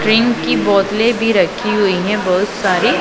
Drink की बोतलें भी रखी हुई हैं बहोत सारी।